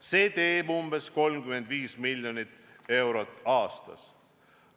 See teeb umbes 35 miljonit eurot aastas.